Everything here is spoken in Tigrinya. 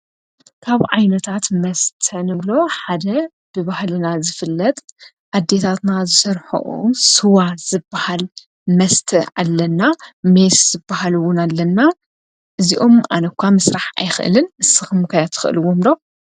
ካብ ዓይነታት መስተ ንብሎ ሓደ ብባህልና ዝፍለጥ ኣዲታትና ዘሠርኅኦ ሥዋ ዝበሃል መስተ ኣለና ።ሜስ ዝበሃልውን ኣለና። እዚኦም ኣነኳ ምስራሕ ኣይኽእልን ስኽሙካ ያ ትኽእልዎምሎ?